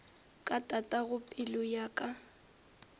ka tatago pelo ya ka